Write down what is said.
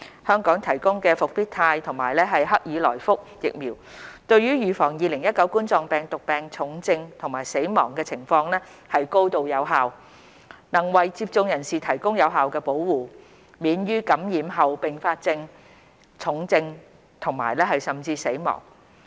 香港提供的復必泰和克爾來福疫苗對於預防2019冠狀病毒病重症和死亡情況高度有效，能為接種人士提供有效保護，免於感染後併發重症甚至死亡。